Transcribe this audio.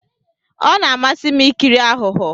Ọ na-amasị m ikiri aghụghọ.